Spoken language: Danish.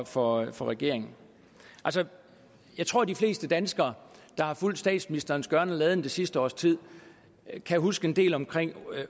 for for regeringen jeg tror de fleste danskere der har fulgt statsministerens gøren og laden det sidste års tid kan huske en del omkring